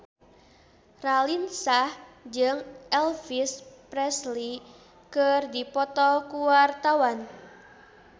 Raline Shah jeung Elvis Presley keur dipoto ku wartawan